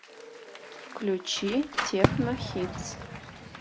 включи техно хитс